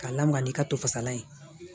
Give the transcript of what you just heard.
K'a lamaga n'i ka to fasalan ye